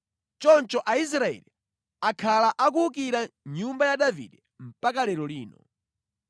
Choncho Aisraeli akhala akuwukira nyumba ya Davide mpaka lero lino.